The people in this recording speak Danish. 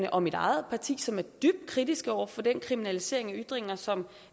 og mit eget parti som er dybt kritiske over for den kriminalisering af ytringer som